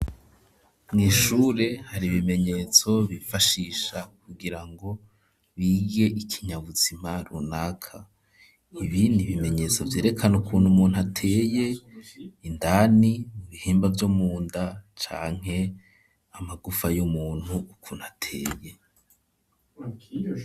Mu ishure hari ibimenyetso bifashisha kugira ngo bige ikinyabuzima runaka ibindi bimenyetso byerekana ukuntu umuntu ateye indani mu bihimba vyomunda canke amagufa y'umuntu ukuntu ateye.